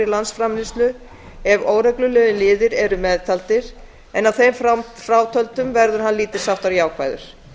af ef óreglulegir liðir eru meðtaldir en að þeim frátöldum verði hann lítils háttar jákvæður